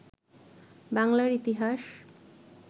বাংলার ইতিহাস